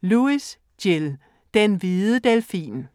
Lewis, Gill: Den hvide delfin